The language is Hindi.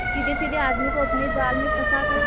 सीधेसाधे आदमी को अपने जाल में फंसा कर